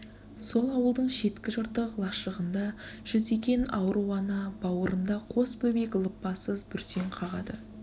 сол ауылдың шеткі жыртық лашығында жүдеген ауру ана бауырында қос бөбек лыпасыз бүрсең қағады